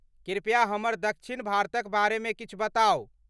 कृप्या हमरा दक्षिण भारतक बारेमे किछु बताउ।